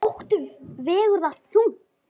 Ótti vegur þar þungt.